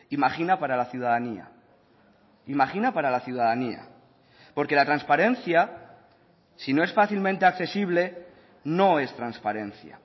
imagina para la ciudadanía imagina para la ciudadanía porque la transparencia si no es fácilmente accesible no es transparencia